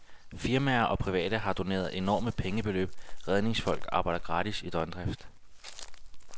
Firmaer og private har doneret enorme pengebeløb, redningsfolk arbejder gratis i døgndrift.